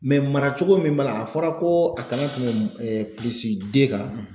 Mɛ mara cogo min b'a la a fɔra ko a kana tɛmɛ ɛɛ pilisi de kan